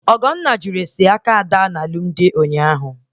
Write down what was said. Ogonne jụrụ ese aka Amala na alụmdi ụnyaahụ